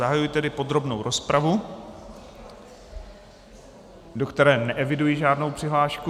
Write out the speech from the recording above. Zahajuji tedy podrobnou rozpravu, do které neeviduji žádnou přihlášku.